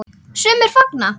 Sumir fagna.